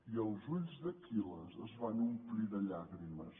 i els ulls d’aquil·les es van omplir de llàgrimes